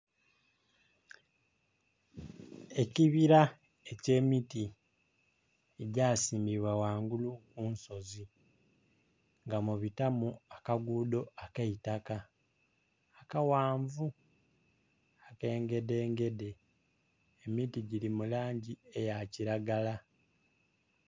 Ekibira eky'emiti egyasimbibwa wangulu mu nsozi, nga mubitamu akagudho ak'eitaka, akaghanvu, ak'engedengede. Emiti giri mu langi eya kiragala.